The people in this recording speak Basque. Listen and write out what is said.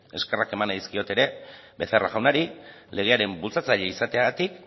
eskerrak eman nahi dizkiot ere becerra jaunari legearen bultzatzaile izateagatik